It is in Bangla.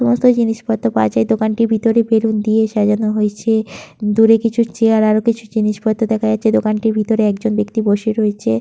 সমস্ত জিনিসপত্র পাওয়া যায়। দোকানটির ভিতরে বেলুন দিয়ে সাজানো হয়েছে। দূরে কিছু চেয়ার আরও কিছু জিনিসপত্র দেখা যাচ্ছে। দোকানটির ভিতরে একজন ব্যক্তি বসে রয়েছে।